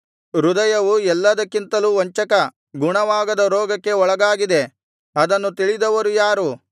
ಹೃದಯವು ಎಲ್ಲಾದಕ್ಕಿಂತಲೂ ವಂಚಕ ಗುಣವಾಗದ ರೋಗಕ್ಕೆ ಒಳಗಾಗಿದೆ ಅದನ್ನು ತಿಳಿದವರು ಯಾರು